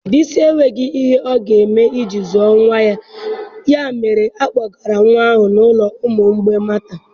Bisi enweghị ihe ọ ga-eme iji zụọ nwa ya mere a kpọgara nwa ahụ n'ụlọ ụmụ mgbei Matthau.